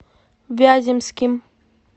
вяземским